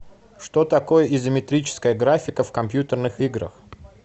что такое изометрическая графика в компьютерных играх